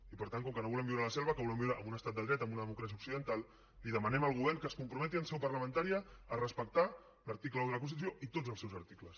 i per tant com que no volem viure a la selva que volem viure en un estat de dret en una democràcia occidental demanem al govern que es comprometi en seu parlamentària a respectar l’article un de la constitució i tots els seus articles